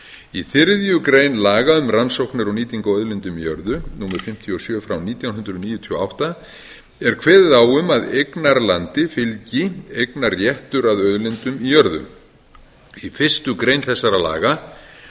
í þriðju grein laga um rannsóknir og nýtingu á auðlindum í jörðu númer fimmtíu og sjö frá nítján hundruð níutíu og átta er kveðið á um að eignarlandi fylgir eignarréttur að auðlindum í jörðu í fyrstu grein þessara laga eru